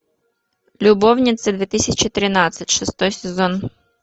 любовница две тысячи тринадцать шестой сезон